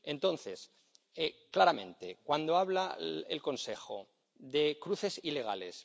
Entonces, claramente, cuando habla el Consejo de cruces ilegales...